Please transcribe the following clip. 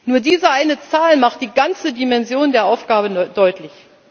Nur diese eine Zahl macht die ganze Dimension der Aufgabe deutlich.